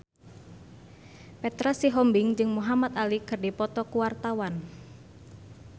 Petra Sihombing jeung Muhamad Ali keur dipoto ku wartawan